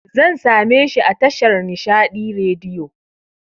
Zan sameshi a tashar Nishaɗi Radiyo